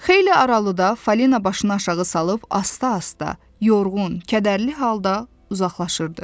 Xeyli aralıda Falina başını aşağı salıb asta-asta, yorğun, kədərli halda uzaqlaşırdı.